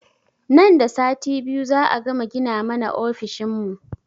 Nan da sati biyu za a gama gina mana ofishin mu